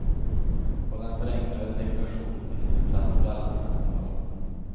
På den förenklade deklarationen finns inte plats för alla mina smålån.